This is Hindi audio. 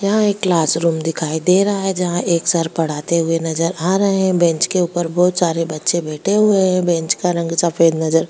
यहां एक क्लास रूम दिखाई दे रहा है जहां एक सर पढ़ाते हुए नजर आ रहे हैं बेंच के ऊपर बहुत सारे बच्चे बैठे हुए हैं बेंच का रंग सफेद नजर --